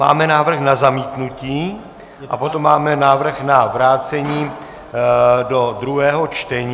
Máme návrh na zamítnutí a potom máme návrh na vrácení do druhého čtení.